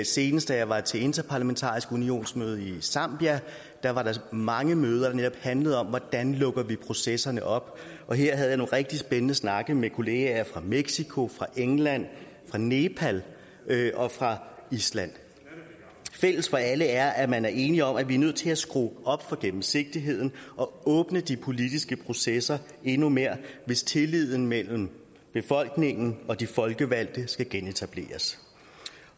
senest da jeg var til den interparlamentariske unions møde i zambia da var der mange møder der netop handlede om hvordan vi lukker processerne op her havde rigtig spændende snakke med kollegaer fra mexico fra england fra nepal og fra island fælles for alle er at man er enige om at vi er nødt til at skrue op for gennemsigtigheden og åbne de politiske processer endnu mere hvis tilliden mellem befolkningen og de folkevalgte skal genetableres